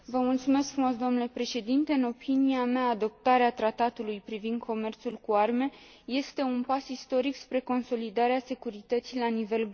Domunle președinte, în opinia mea, adoptarea Tratatului privind comerțul cu arme este un pas istoric spre consolidarea securității la nivel global.